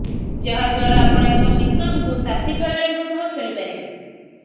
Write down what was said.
ଯାହାଦ୍ୱାରା ଆପଣ ଏକ ମିଶନକୁ ସାଥୀ ଖେଳାଳୀଙ୍କ ସହ ଖେଳିପାରିବେ